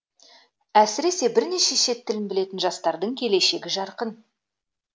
әсіресе бірнеше шет тілін білетін жастардың келешегі жарқын